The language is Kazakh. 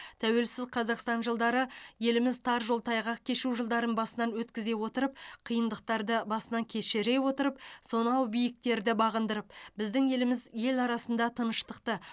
тәуелсіз қазақстан жылдары еліміз тар жол тайғақ кешу жылдарын басынан өткізе отырып қиындықтарды басынан кешіре отырып сонау биіктерді бағындырып біздің еліміз ел арасында тыныштықты